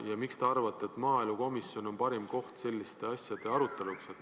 Ja miks te arvate, et maaelukomisjon on parim koht selliste asjade aruteluks?